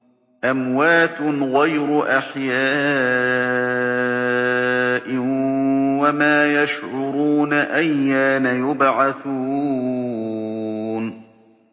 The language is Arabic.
أَمْوَاتٌ غَيْرُ أَحْيَاءٍ ۖ وَمَا يَشْعُرُونَ أَيَّانَ يُبْعَثُونَ